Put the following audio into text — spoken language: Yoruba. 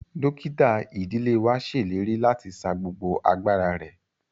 Dókítà ìdílé wa ṣèlérí láti sa gbogbo agbára rẹ.